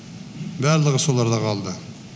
барлығы соларда қалды